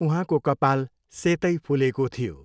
उहाँको कपाल सेतै फुलेको थियो।